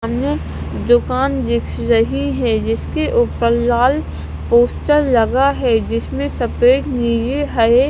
सामने दुकान दिख रही है जिसके ऊपर लाल पोस्टर लगा है जिसमें सफेद नीले हरे--